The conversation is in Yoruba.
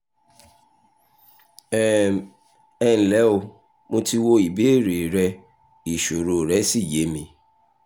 um ẹ ǹlẹ́ o mo ti wo ìbéèrè rẹ ìṣòro rẹ́ sì yé mi